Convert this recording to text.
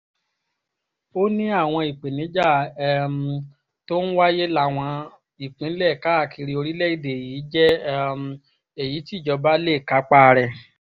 ó ní àwọn ìpèníjà um tó ń wáyé láwọn ìpínlẹ̀ káàkiri orílẹ̀‐èdè yìí jẹ́ um èyí tí ìjọba lè kápá rẹ̀